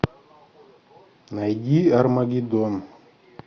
найди армагеддон